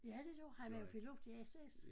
Ja det gjorde han er jo pilot i SAS